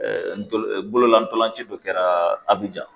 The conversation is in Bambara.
ndolo bolola dɔlanci dɔ kɛra Abijan.